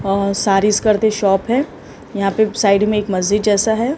और सारीज करके शॉप है यहां पे साइड में एक मस्जिद जैसा है।